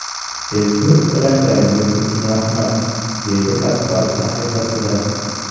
Ezgu tilaklaringiz uchun rahmat”, deydi Kasparov sahifasida.